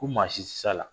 Ko maa si tɛ se a la